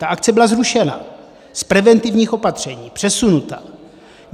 Ta akce byla zrušena, z preventivních opatření přesunuta.